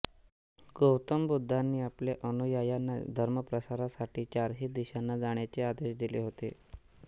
गौतम बुद्धांनी आपल्या अनुयायांना धर्मप्रसारासाठी चारही दिशांना जाण्याचे आदेश दिले होते